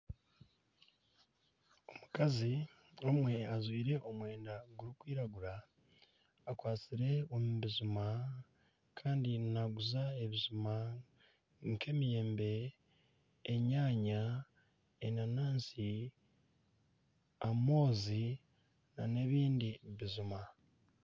Omukazi omwe ajwire omwenda gurikwiragura, akwastire omu bijuma kandi naaguza ebijuma nk'emiyembe, enyaanya, enanaasi, amoozi, nana ebindi bijuma.